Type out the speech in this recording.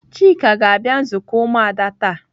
Chika ga-abia nzuko umuada ta.